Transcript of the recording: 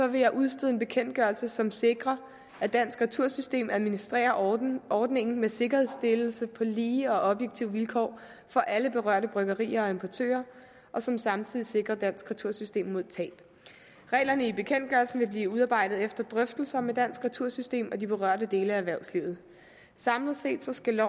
vil jeg udstede en bekendtgørelse som sikrer at dansk retursystem administrerer ordningen med sikkerhedsstillelse på lige og objektive vilkår for alle berørte bryggerier og importører og som samtidig sikrer dansk retursystem mod tab reglerne i bekendtgørelsen vil blive udarbejdet efter drøftelser med dansk retursystem og de berørte dele af erhvervslivet samlet set skal